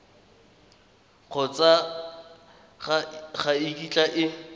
kgotsa ga e kitla e